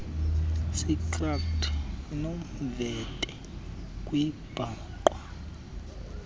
sitrato inomvete kwabhaqwa